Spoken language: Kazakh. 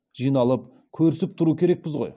жиналып көрісіп тұру керекпіз ғой